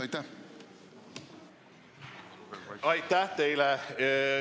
Aitäh teile!